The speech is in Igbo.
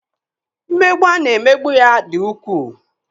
Mmegbu a na-emegbu ya dị ukwuu.